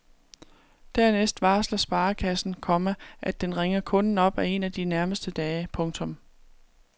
Dernæst varsler sparekassen, komma at den ringer kunden op en af de nærmeste dage. punktum